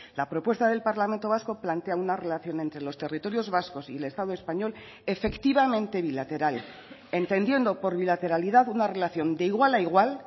la propuesta del parlamento vasco plantea una relación entre los territorios vascos y el estado español efectivamente bilateral entendiendo por bilateralidad una relación de igual a igual